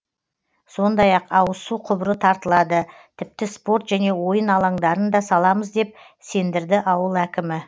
сондай ақ ауыз су құбыры тартылады тіпті спорт және ойын алаңдарын да саламыз деп сендірді ауыл әкімі